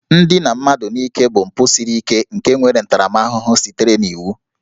Ndina mmadụ n'ike bụ mpụ siri ike nke nwere ntaramahụhụ sitere n'iwu